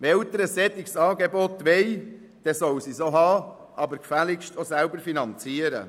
Wenn Eltern ein derartiges Angebot wollen, sollen sie es haben, aber gefälligst auch selber finanzieren.